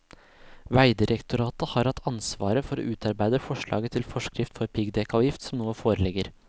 Vegdirektoratet har hatt ansvaret for å utarbeide forslaget til forskrift for piggdekkavgift som nå foreligger.